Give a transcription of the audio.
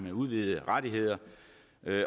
af udvidede rettigheder